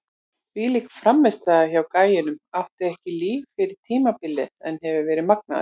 Þvílík frammistaða hjá gæjanum, átti ekki líf fyrir tímabilið en hefur verið magnaður!